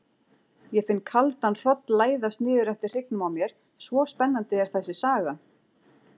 Ég finn kaldan hroll læðast niður eftir hryggnum á mér, svo spennandi er þessi saga.